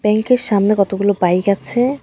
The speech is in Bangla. ব্যাংক -এর সামনে কতগুলো বাইক আছে।